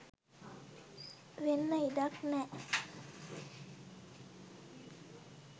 වෙන්න ඉඩක් නෑ.